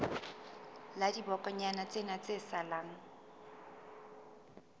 la dibokonyana tsena tse salang